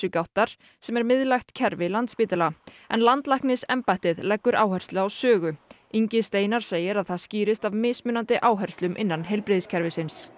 Heilsugáttar sem er miðlægt kerfi Landspítala en landlæknisembættið leggur áherslu á Sögu Ingi Steinar segir að það skýrist af mismunandi áherslum innan heilbrigðiskerfisins